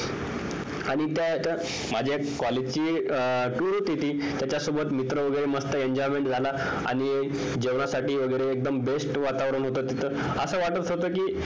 आणि त्यात माझ्या college ची tour होती ती त्याच्यासोबत मस्त मित्र वगैरे enjoyment झाला आणि जेवणासाठी वगैरे एकदम best वातावरण होत तिथं असं वाटत होत कि